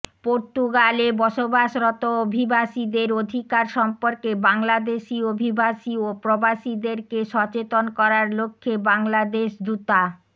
পর্তুগালে বসবাসরত অভিবাসীদের অধিকার সম্পর্কে বাংলাদেশি অভিবাসী ও প্রবাসীদেরকে সচেতন করার লক্ষ্যে বাংলাদেশ দূতা